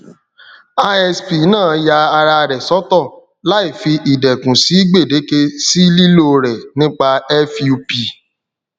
isp náà ya ara rẹ sọtọ láì fi idékun si gbèdéke sí lílò rẹ nípa fup